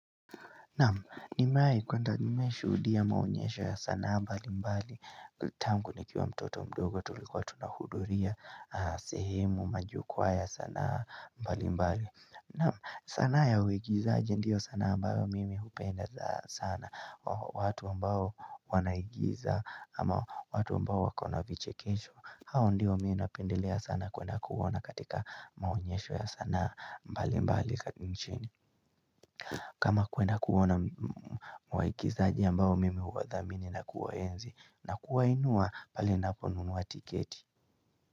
Naam, nimewahi kuenda nimewahi shuhudia maonyesho ya sanaa mbalimbali tangu nikiwa mtoto mdogo tulikuwa tunahudhuria sehemu majukwaa ya sanaa mbalimbali. Naam, sanaa ya uigizaji ndio sanaa ambayo mimi hupenda za sana watu ambao wanaigiza ama watu ambao wako na vichekesho, hao ndio mi napendelea sana kuenda kuona katika maonyesho ya sanaa mbalimbali katika nchini. Kama kuenda kuona waigizaji ambao mimi huwadhamini na kuwaenzi na kuwainua pale ninaponunua tiketi.